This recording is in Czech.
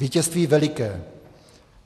Vítězství veliké.